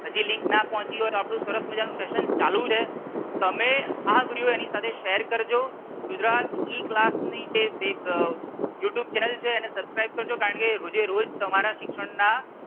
હજી Link ના પહોંચી હોય તો આપણું સરસ મજાનું session ચાલુ છે તમે આ વિડિયો એની સાથે share કરજો. ગુજરાત E class ની જે web youtube channel છે એને subscribe કરજો કારણકે રોજે રોજ તમારા શિક્ષણ ના.